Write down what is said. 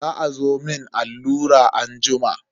Za azo a mun allura anjima.